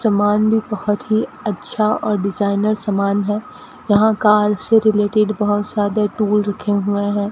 सामान भी बहुत ही अच्छा और डिजाइनर समान है यहाँ कार से रिलेटेड बोहोत सारे टूल रखे हुए हैं।